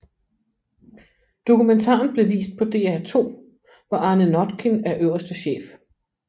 Dokumentaren blev vist på DR2 hvor Arne Notkin er øverste chef